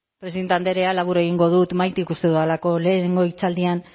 presidente andrea labur egingo dut uste dudalako lehenengo hitzaldian